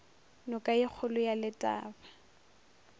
noka ye kgolo ya letaba